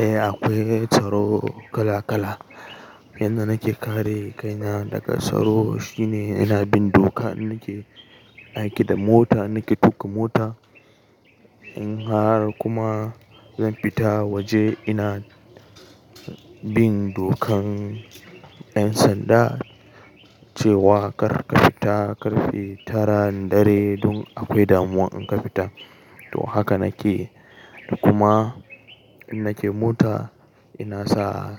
Eh akwai tsaro kala kala. Yanda nake kare kaina daga tsaro shine ina bin doka in nake aiki da mota, nake tuƙa mota. In har kuma zan fita waje ina bin dokan 'yan sanda cewa kar ka fita, kar karfe taran dare dun akwai damuwa in ka fita. To haka nake. Kuma in nake mota ina sa